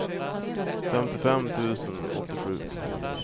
femtiofem tusen åttiosju